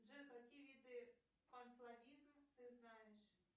джой какие виды канцловизм ты знаешь